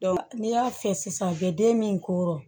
n'i y'a fɛ sisan u bɛ den min ko